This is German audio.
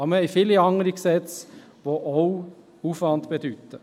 Aber wir haben viele andere Gesetze, welche auch Aufwand bedeuten.